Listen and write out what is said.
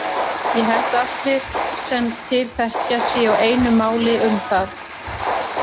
Ég held að allir sem til þekkja séu á einu máli um það.